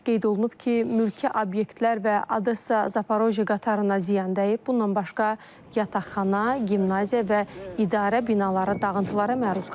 Qeyd olunub ki, mülki obyektlər və Odessa, Zaporojye qatarına ziyan dəyib, bundan başqa yataqxana, gimnaziya və idarə binaları dağıntılara məruz qalıb.